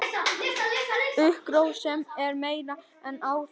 Hugarrósemin er meiri en áður.